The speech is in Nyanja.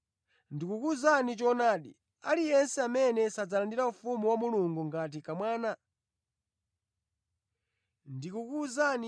Ndikukuwuzani choonadi, aliyense amene sadzalandira Ufumu wa Mulungu ngati kamwana sadzalowamo.”